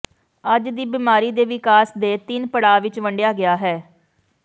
ਅੱਜ ਦੀ ਬਿਮਾਰੀ ਦੇ ਵਿਕਾਸ ਦੇ ਤਿੰਨ ਪੜਾਅ ਵਿੱਚ ਵੰਡਿਆ ਗਿਆ ਹੈ